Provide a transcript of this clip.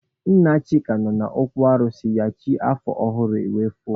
Nna Chika nọ n'okwu alụsị ya chi afọ ọhụrụ wee foo.